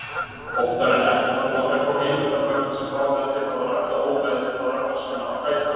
Oftar en ekki koma þær frá heimildarmönnum sem hafa meðvitaðra eða ómeðvitaðra hagsmuna að gæta.